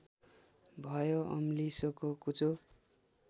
भयो अम्लिसोको कुचो